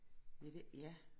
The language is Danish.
Ja det ja